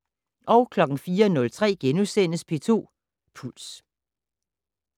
04:03: P2 Puls *